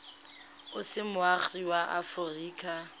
o se moagi wa aforika